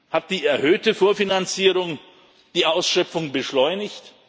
Hat die erhöhte Vorfinanzierung die Ausschöpfung beschleunigt?